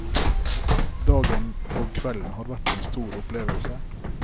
Dagen og kvelden har vært en stor opplevelse.